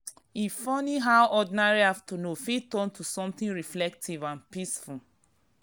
e funny how ordinary afternoon fit turn to something reflective and peaceful.